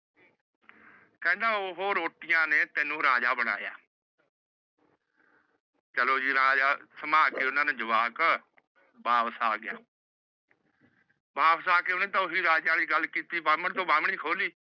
ਕਹਿੰਦਾ ਉਹ ਰੋਟੀਆਂ ਨੇ ਤੈਨੂੰ ਰਾਜਾ ਬਾਣੀਏਏ। ਚੱਲੋ ਜੀ ਰਾਜਾ ਸੰਭਾਲ ਕੇ ਓਹਨਾ ਨੂੰ ਜਵਾਕ ਵਾਪਿਸ ਆ ਗਿਆ। ਵਾਪਿਸ ਆ ਕੇ ਓਹਨੇ ਓਹੀ ਰਾਜੇ ਵਾਲੀ ਗੱਲ ਕਿੱਤੀ ਬਾਹਮਣ ਤੋਂ ਬਾਹਮਣੀ ਖੋ ਲਈ।